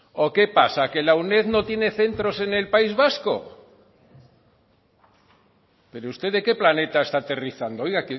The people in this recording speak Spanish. o qué pasa que la uned no tiene centros en el país vasco pero usted de que planeta está aterrizando oiga